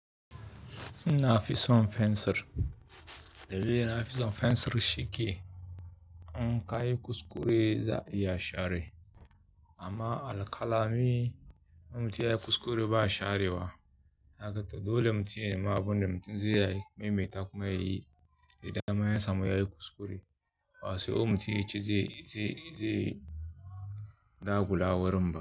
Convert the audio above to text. Ina fi son fensir, dalilin na fi son fensir shi ke kayi kuskure za'a iya share. Amma alkalami in mutum ya yi kuskure ba sharewa. Haka to dole mutum ya nema abun da mutum zai yi. Mai mai takuma ya yi, idan yasamu yayi kuskure, bawai sai mutum yaci zai, zai, zai dagula wurinmu.